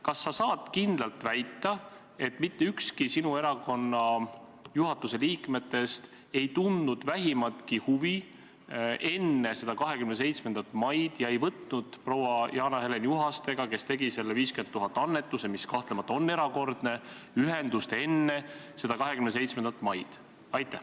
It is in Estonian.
Kas sa saad kindlalt väita, et mitte ükski sinu erakonna juhatuse liikmetest ei tundnud vähimatki huvi enne seda 27. maid ega võtnud proua Jana-Helen Juhastega, kes tegi selle 50 000 euro suuruse annetuse, mis kahtlemata on erakordne, enne 27. maid ühendust?